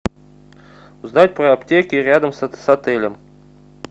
узнать про аптеки рядом с отелем